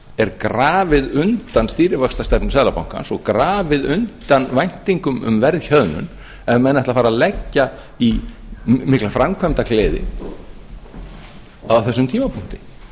er grafið undan stýrivaxtastefnu seðlabankans og grafið undan væntingum um verðhjöðnun ef menn ætla að fara að leggja í mikla framkvæmdagleði á þessum tímapunkti